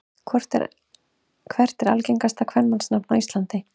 Hvert er algengasta kvenmannsnafn á Íslandi?